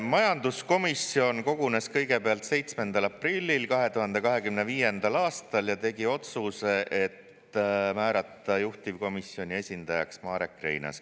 Majanduskomisjon kogunes kõigepealt 7. aprillil 2025. aastal ja tegi otsuse määrata juhtivkomisjoni esindajaks Marek Reinaas.